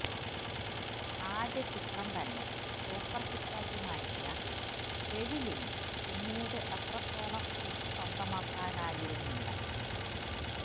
ആദ്യ ചിത്രം തന്നെ സൂപ്പര് ഹിറ്റാക്കി മാറ്റിയ എഴിലിന് പിന്നീട് അത്രത്തോളം ഹിറ്റ് സ്വന്തമാക്കാനായിരുന്നില്ല